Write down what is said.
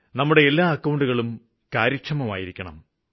നമ്മുടെ എല്ലാ അക്കൌണ്ടുകളും കാര്യക്ഷമമായിരിക്കണം